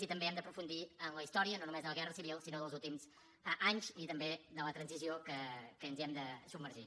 i també hem d’aprofundir en la història no només de la guerra civil sinó dels últims anys i també de la transició que ens hi hem de submergir